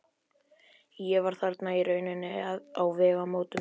Ég var þarna í rauninni á vegamótum.